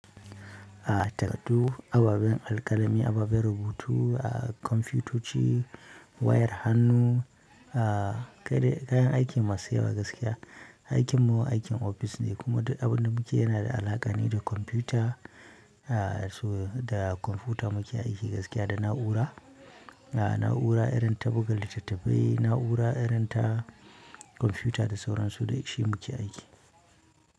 A tattu ababen alkalami, ababen rubutu a kwamfutoci, wayar hannu, a kaya kayan aikin masu yawa gaskiya. Aikin mu aikin ofis ne kuma duk abun da muke yana da alaƙa ne da kwamfuta. A so da kwamfuta muke aiki gaskiya da na'ura, a na'ura irin ta buga littattafai, na'ura irin ta kwamfuta da sauran su da shi muke aiki.